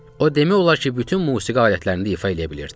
O demək olar ki, bütün musiqi alətlərində ifa eləyə bilirdi.